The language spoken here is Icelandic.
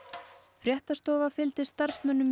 fréttastofa fylgdi starfsmönnum